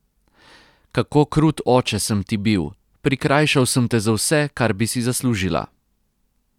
Kako krut oče sem ti bil, prikrajšal sem te za vse, kar bi si zaslužila.